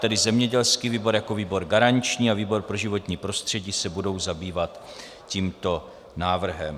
Tedy zemědělský výbor jako výbor garanční a výbor pro životní prostředí se budou zabývat tímto návrhem.